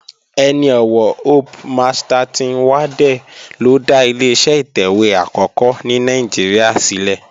Ẹni ọ̀wọ̀ Hope Masterton Waddell ló dá Ileṣẹ́ ìtẹ̀wé àkọ́kọ́ ní Nàìjíríà sílẹ̀